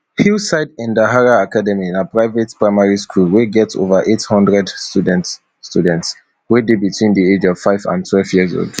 hillside endaraha academy na private primary school wey get ova eight hundred students students wey dey between di age of five and twelve years old